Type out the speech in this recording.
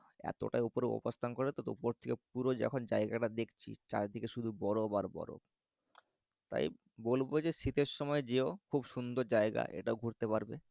এতটাই উপরে অবস্থান করে তো উপর থেকে পুরো যখন জায়গাটা দেখছি চারিদিকে শুধু বরফ আর বরফ তাই বলবো যে শীতের সময় যেও খুব সুন্দর জায়গা এটাও ঘুরতে পারবে